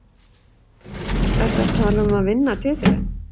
Ertu að tala um að vinna titilinn?